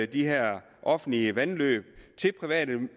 de her offentlige vandløb til private